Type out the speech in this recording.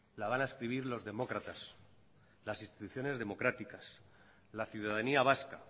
la van a escribir los demócratas las instituciones democráticas la ciudadanía vasca